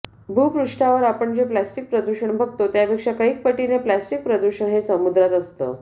भूपृष्ठावर आपण जे प्लास्टिक प्रदूषण बघतो त्यापेक्षा कैक पटीने प्लास्टिक प्रदूषण हे समुद्रात असतं